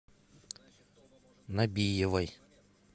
набиевой